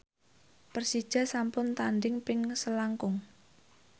Persija sampun tandhing ping selangkung